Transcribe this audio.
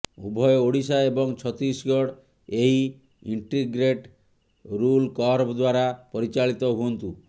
ଉଭୟ ଓଡ଼ିଶା ଏବଂ ଛତିଶଗଡ଼ ଏହି ଇଣ୍ଟିଗ୍ରେଟ୍ଟ୍ ରୁଲ୍ କର୍ଭ ଦ୍ୱାରା ପରିଚାଳିତ ହୁଅନ୍ତୁ